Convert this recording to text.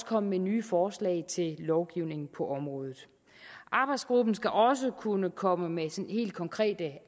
komme med nye forslag til lovgivning på området arbejdsgruppen skal også kunne komme med sådan helt konkret